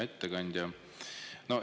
Hea ettekandja!